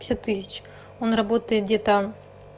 пятьдесят тысяч тысяч он работает где-то